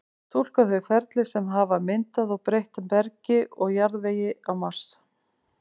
túlka þau ferli sem hafa myndað og breytt bergi og jarðvegi á mars